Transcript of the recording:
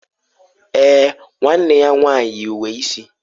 Èè, nwanne ya nwanyị yi uwe isi.